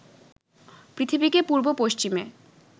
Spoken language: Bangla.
পৃথিবীকে পূর্ব পশ্চিমে